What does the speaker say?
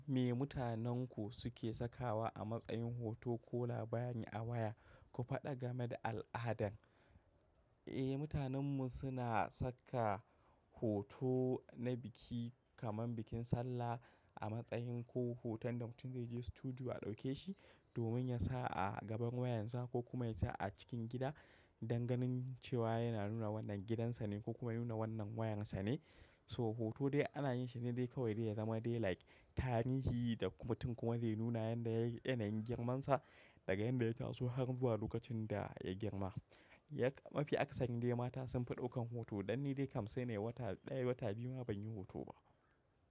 Me mutanenku suke sakawa a matsayin hoto ko labari a waya? Ku faɗa game da al'adan. Eh, mutanenmu suna saka hoto na biki kamar bikin sallah a matsayin ko hoton da mutum zai je studio a ɗauke shi domin ya sa a gaban wayansa ko kuma ya sa a cikin gida danganin cewa yana nuna wannan gidansane kokuma yanuna wannan wayansane. So hoto dai ana yin shi ne dai kawai dai ya zama dai like tarihi da kuma mutum kuma zai nuna yanayin girman sa daga yan da ya taso har zuwa lokacin da ya girma. Mafi akasarin dai mata sun fi ɗaukan hoto, dan ni dai kam sainnayi wata ɗaya wata biyu ma ban yi hoto ba.